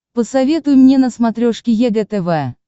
посоветуй мне на смотрешке егэ тв